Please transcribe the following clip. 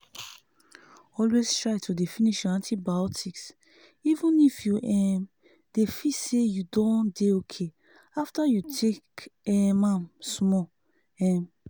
always try dey finish your antibiotics even if you um don feel say you dey okay after you take um am small. um